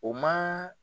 O ma